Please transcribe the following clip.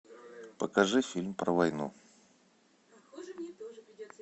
покажи фильм про войну